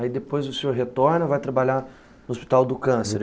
Aí depois o senhor retorna, vai trabalhar no Hospital do Câncer?